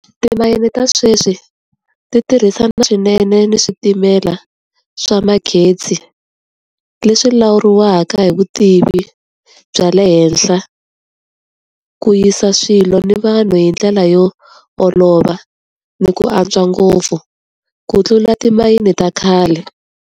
Timayini ta sweswi ti tirhisa swinene ni switimela swa magezi. Leswi lawuriwaka hi vutivi bya le henhla ku yisa swilo ni vanhu hi ndlela yo olova, ni ku antswa ngopfu. Ku tlula timayini ta khale.